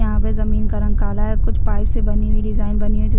यहाँ पे जमींन का रंग काला है कुछ पाईप से बनी हुई डिज़ाइन बनी हुई जो--